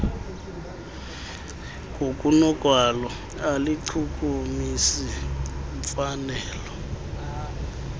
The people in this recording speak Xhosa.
ngokunokwalo aluchukumisi mfanelo